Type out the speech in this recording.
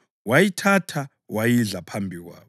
wayithatha wayidla phambi kwabo.